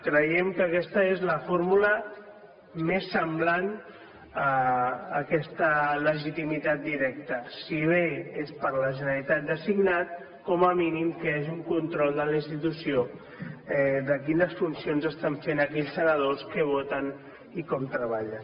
creiem que aquesta és la fórmula més semblant a aquesta legitimitat directa si bé és per la generalitat designat com a mínim que hi hagi un control de la institució de quines funcions estan fent aquells senadors què voten i com treballen